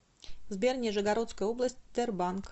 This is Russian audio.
сбер нижегородская область тербанк